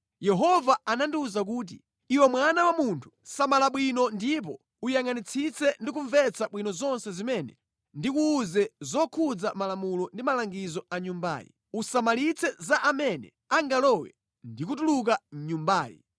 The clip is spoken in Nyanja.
Yehova anandiwuza kuti, “Iwe mwana wa munthu, samala bwino ndipo uyangʼanitsitse ndi kumvetsa bwino zonse zimene ndikuwuze zokhudza malamulo ndi malangizo a Nyumbayi. Usamalitse za amene angalowe ndi kutuluka mʼNyumbayi.